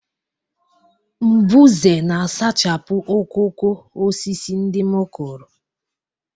mbuze na-asachapụ okooko osisi ndị m kụrụ